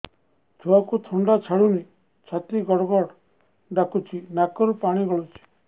ଛୁଆକୁ ଥଣ୍ଡା ଛାଡୁନି ଛାତି ଗଡ୍ ଗଡ୍ ଡାକୁଚି ନାକରୁ ପାଣି ଗଳୁଚି